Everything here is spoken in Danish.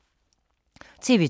TV 2